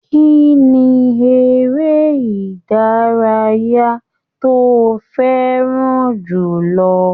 Kínní eré ìdárayá tó fẹràn jùlọ?